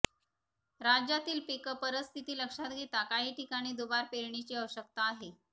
राज्यातली पीक परिस्थिती लक्षात घेता काही ठिकाणी दुबार पेरणीची आवश्यकता आहे